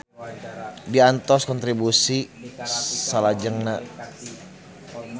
Diantos kontribusi salajengna.